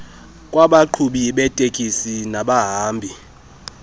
kwabaqhubi beetekisi nabahambi